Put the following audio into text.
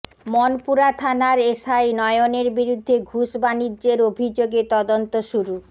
মনপুরা থানার এসআই নয়নের বিরুদ্ধে ঘুষ বাণিজ্যের অভিযোগে তদন্ত শুরু